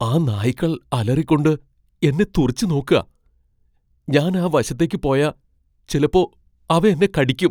ആ നായ്ക്കൾ അലറിക്കൊണ്ട് എന്നെ തുറിച്ചു നോക്കാ. ഞാൻ ആ വശത്തേക്ക് പോയാ ചിലപ്പോ അവ എന്നെ കടിയ്ക്കും.